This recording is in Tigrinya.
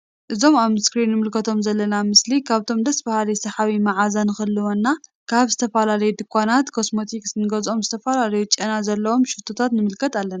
እዚ ኣብ እስክሪን እንምልከቶ ዘለና ምስሊ ካብቶም ደስ በሃሊ ሰሓቢ መዓዛ ንክህልወና ካብ ዝተፈላለዩ ዱካናት ኮስሞቲክሳት እንገዝኦም ዝተፈላለየ ጨና ዘለዎም ሽቶታት ንምልከት ኣለና።